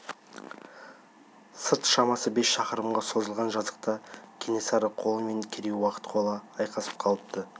сырт шамасы бес шақырымға созылған жазықта кенесары қолы мен керей-уақ қолы айқасып қалыпты